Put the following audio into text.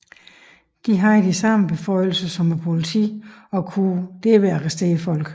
De havde de samme beføjelser som politiet og kunne derved arrestere folk